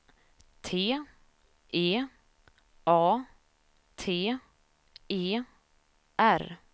T E A T E R